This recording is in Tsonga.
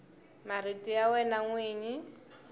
marito ya wena n wini